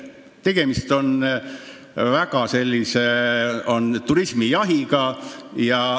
Tegemist on jahiturismiga.